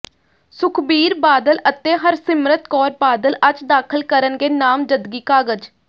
ਸੁਖਬੀਰ ਬਾਦਲ ਅਤੇ ਹਰਸਿਮਰਤ ਕੌਰ ਬਾਦਲ ਅੱਜ ਦਾਖ਼ਲ ਕਰਨਗੇ ਨਾਮਜ਼ਦਗੀ ਕਾਗਜ਼